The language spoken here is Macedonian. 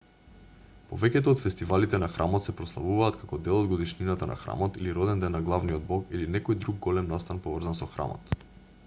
повеќето од фестивалите на храмот се прославуваат како дел од годишнината на храмот или роденден на главниот бог или некој друг голем настан поврзан со храмот